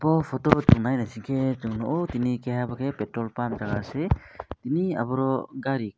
o photo o song nai naisike song nogo tini keha oboke petrol pump jaga se tini oboro gari.